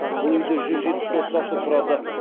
бұл үи де жүз жетпіс отбасы тұрады